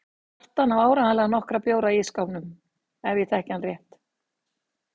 Kjartan á áreiðanlega nokkra bjóra í ísskápnum ef ég þekki hann rétt.